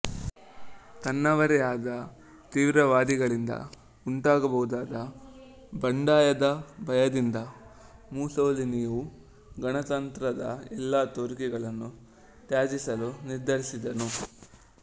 ತನ್ನವರೇ ಆದ ತೀವ್ರವಾದಿಗಳಿಂದ ಉಂಟಾಗಬಹುದಾದ ಬಂಡಾಯದ ಭಯದಿಂದ ಮುಸೊಲಿನಿಯು ಗಣತಂತ್ರದ ಎಲ್ಲ ತೋರಿಕೆಗಳನ್ನು ತ್ಯಜಿಸಲು ನಿರ್ಧರಿಸಿದನು